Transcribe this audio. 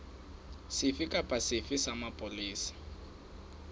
sefe kapa sefe sa mapolesa